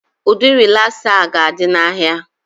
Ụdị rịlasa a ga-adị n'ahịa